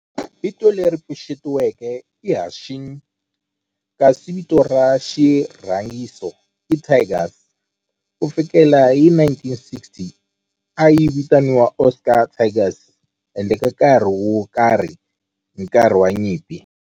Vito leri pfuxetiweke i Hanshin kasi vito ra xirhangiso i Tigers. Ku fikela hi 1960, a yi vitaniwa Osaka Tigers handle ka nkarhi wo karhi hi nkarhi wa nyimpi.